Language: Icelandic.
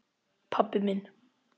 Pabbi minn.